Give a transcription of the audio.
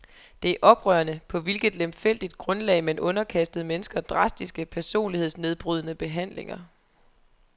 Det er oprørende, på hvilket lemfældigt grundlag man underkastede mennesker drastiske, personlighedsnedbrydende behandlinger.